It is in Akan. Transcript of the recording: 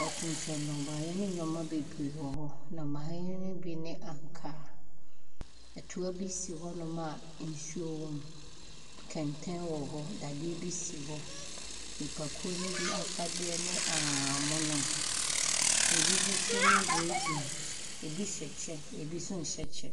wɔtontɔn nnɔbaeɛ ne nneɛma bebree wɔ hɔ, nnɔbaeɛ ne bi ne ankaa. Toa bi si hɔnom a nsuo wɔ mu, kɛntɛn wɔ hɔ, dadeɛ bi si hɔ. Nnipakuo ne bi afadeɛ ne ahahanmono, bi nso ne biredum, bi hyɛ kyɛ, bi nso nhyɛ kyɛ.